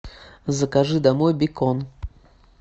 закажи домой бекон